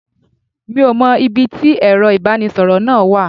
Mi ò mọ ibi tí Ẹ̀rọ ibanisoro náà wà.